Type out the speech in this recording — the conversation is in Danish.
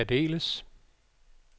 særdeles